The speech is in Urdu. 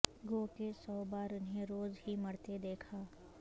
گو کہ سو بار انھیں روز ہی مرتے دیکھا